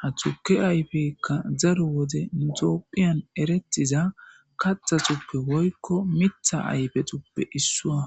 ha tuke ayfekka zaru wode nu topphiyan erettiza kaxa xuppe woykko mitha ayfe tuppe issuwa